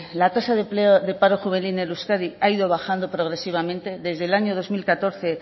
la tasa de empleo de paro juvenil en euskadi ha ido bajando progresivamente desde el año dos mil catorce